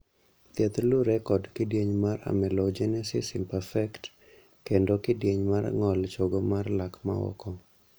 thieth luwore kod kidieny mar amelogenesis imperfect kendo kidieny mar ng'ol chogo mar lak ma oko